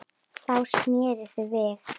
Þá sneru þau við.